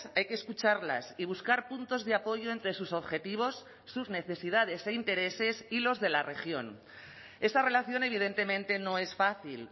hay que escucharlas y buscar puntos de apoyo entre sus objetivos sus necesidades e intereses y los de la región esa relación evidentemente no es fácil